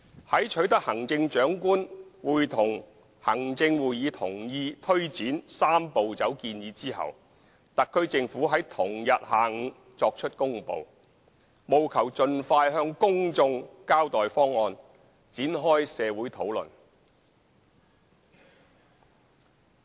在取得行政長官會同行政會議同意推展"三步走"建議後，特區政府在同日下午作出公布，務求盡快向公眾交代方案，展開社會討論。